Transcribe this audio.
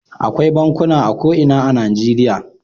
Akwai bankuna a ko ina a Najeriya.